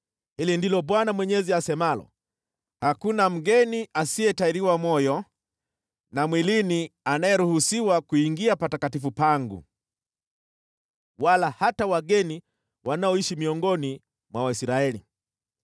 Hili ndilo Bwana Mwenyezi asemalo: Hakuna mgeni asiyetahiriwa moyo na mwilini anayeruhusiwa kuingia patakatifu pangu, wala hata wageni wanaoishi miongoni mwa Waisraeli.